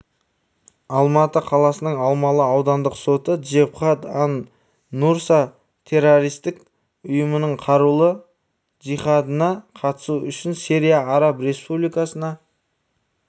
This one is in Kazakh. алматы қаласының алмалы аудандық соты джебхат ан-нусра террористік ұйымының қарулы джихадына қатысу үшін сирия араб республикасына